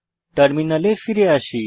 টার্মিনালে ফিরে আসি